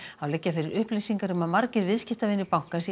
þá liggja fyrir upplýsingar um að margir viðskiptavinir bankans í